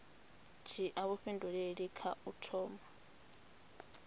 dzhia vhuifhinduleli kha u thoma